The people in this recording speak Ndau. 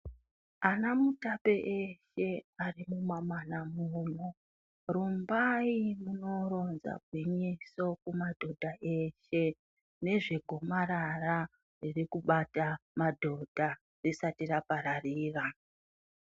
Anamutape eshe arimumamana muno, rumbai munoronza gwinyiso kumadhodha eshe nezvegomarara ririkubata madhodha risati rapararira.